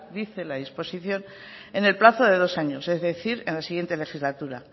dice la disposición en el plazo de dos años es decir en la siguiente legislatura